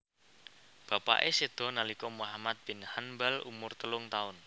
Bapake sedo nalika Muhammad bin Hanbal umur telung taun